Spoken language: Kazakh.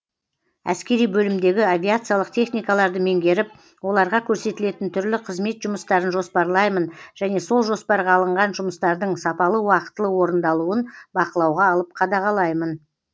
әскери бөлімдегі авиациялық техникаларды меңгеріп оларға көрсетілетін түрлі қызмет жұмыстарын жоспарлаймын және сол жоспарға алынған жұмыстардың сапалы уақытылы орындалуын бақылауға алып қадағалаймын